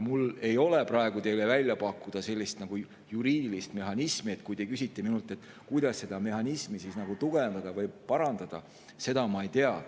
Mul ei ole teile praegu välja pakkuda juriidilist mehhanismi, nii et kui te küsite minult, kuidas seda mehhanismi tugevdada või parandada, siis seda ma ei tea.